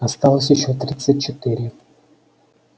осталось ещё тридцать четыре